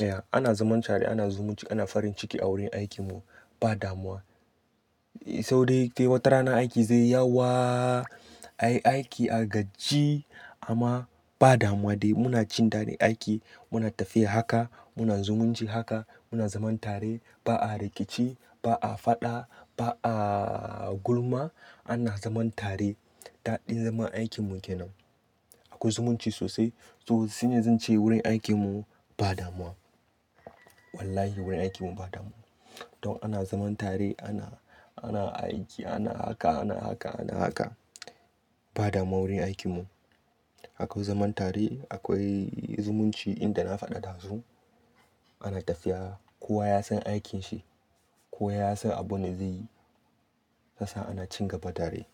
Ya ana zaman tare, ana zumunci, ana farin ciki a wurin aikin mu ba damuwa. Sau dai dai watarana aiki zai yi yawa. Ai aiki a gajji amma ba damuwa dai muna cin dadin aiki. Muna tafiya haka, muna zumunci haka, muna zaman tare. Ba a rikici, ba a faɗa, ba a gulma. Ana zaman tare. Daɗin zaman aikin mu kenan. Akwai zumunci sosai. To shine zan ce wurin aikin mu ba damuwa. Wallahi wurin aikin mu ba damuwa. Don ana zaman tare ana, ana aiki, ana haka, ana haka, ana haka ba damuwa wurin aikin mu. Akwai zaman tare, akwai zumunci inda na faɗa dazu. Ana tafiya kowa ya san aikinshi, kowa ya san abin da zaiyi. SYasa ana cin gaba tare.